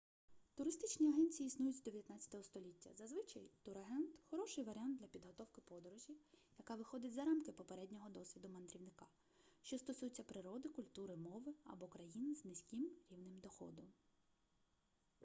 туристичні агенції існують з 19 століття зазвичай турагент хороший варіант для підготовки подорожі яка виходить за рамки попереднього досвіду мандрівника що стосується природи культури мови або країн з низьким рівнем доходу